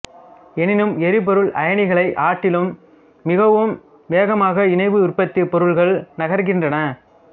எனினும் எரிபொருள் அயனிகளைக் ஆட்டிலும் மிகவும் வேகமாக இணைவு உற்பத்திப் பொருள்கள் நகருகின்றன